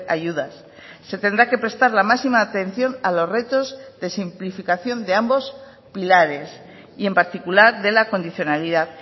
ayudas se tendrá que prestar la máxima atención a los retos de simplificación de ambos pilares y en particular de la condicionalidad